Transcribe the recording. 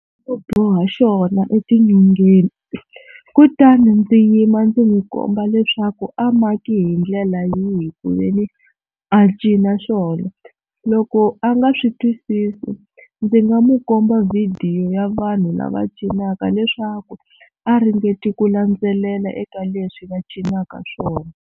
Ku boha xona etinyongeni kutani ndzi yima ndzi n'wi komba leswaku a maki hi ndlela yihi ku ve ni a cina xona loko a nga swi twisisi ndzi nga mu komba vhidiyo ya vanhu lava cinaka leswaku a ringeti ku landzelela eka leswi va cinaka swona.